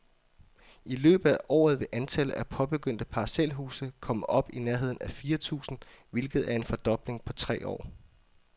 I løbet af året vil antallet af påbegyndte parcelhuse komme op i nærheden af fire tusind, hvilket er en fordobling på tre år.